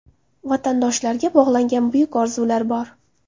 Vatandoshlarga bog‘langan buyuk orzular bor.